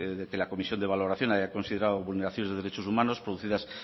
de que la comisión de valoración haya considerado vulneración de derechos humanos producidas